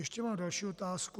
Ještě mám další otázku.